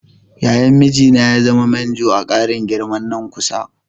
Yayan mijina ya zama manjo a ƙarin girman nan na kusa.